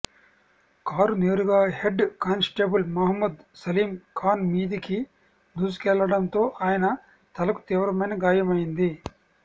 car నేరుగా head constable Mohammed Salim Khan మీదికి దూసుకెళ్లడంతో ఆయన తలకు తీవ్రమైన గాయమైంది